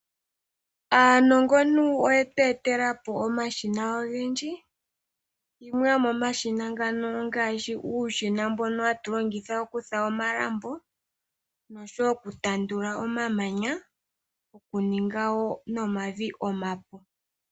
Aanongontu oyetu etela po omashina ogendji. Gamwe gomomashina ngano ongaashi omashina ngoka hatu longitha okufula omalambo noshowo okutandula omamanya nokuninga wo omavi omapu.